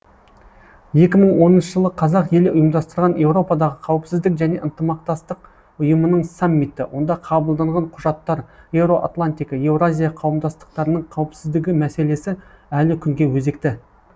екі мың оныншы жылы қазақ елі ұйымдастырған еуропадағы қауіпсіздік және ынтымақтастық ұйымының саммиті онда қабылданған құжаттар еуроатлантика еуразия қауымдастықтарының қауіпсіздігі мәселесі әлі күнге өзекті